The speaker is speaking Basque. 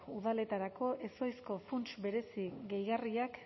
udaletarako ezohiko funts berezi gehigarriak